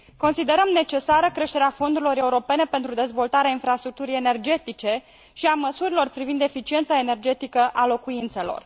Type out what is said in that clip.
Considerăm necesară creșterea fondurilor europene pentru dezvoltarea infrastructurii energetice și a măsurilor privind eficiența energetică a locuințelor.